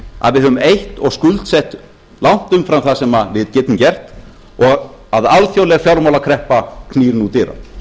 að við höfum eytt og skuldsett langt umfram það sem við getum gert og að alþjóðleg fjármálakreppa knýr nú dyra